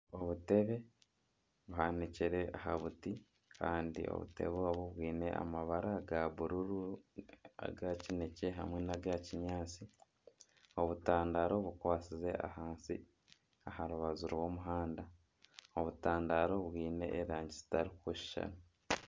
Obutebe buhanikire aha buti kandi obutebe obu bwine amabara ga bururu, agakineekye hamwe nana agakinyaatsi obutandara bukwatsize ahansi aha rubaju rw'omuhanda obutandaro bwine erangi zitarikushushana